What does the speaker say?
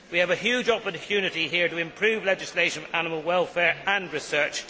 We have a huge opportunity here to improve legislation for animal welfare and research.